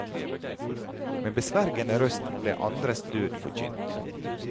Med besvergende røst blir andres død forkynt.